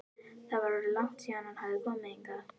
Það var orðið langt síðan hann hafði komið hingað.